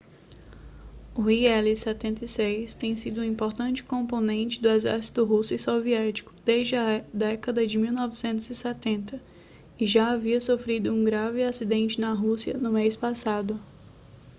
o ii-76 tem sido um importante componente do exército russo e soviético desde a década de 1970 e já havia sofrido um grave acidente na rússia no mês passado